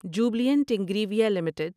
Jubilant Ingrevia limited